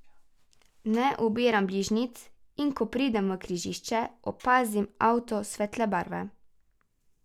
Ne ubiram bližnjic, in ko pridem v križišče, opazim avto svetle barve.